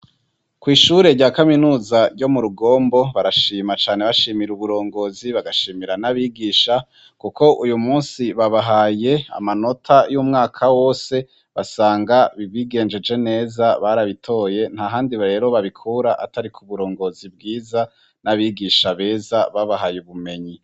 Kw'ishure rya Kaminuza ryo mu Rurugombo, barashima cane bashimir'uburongozi bagashimira n'abigisha kuko uyu munsi babahaye amanota y'umwaka wose basanga bigenjeje neza barabitoye nta handi rero babikura atari ku burongozi bwiza n'abigisha beza babahaye ubumenyi.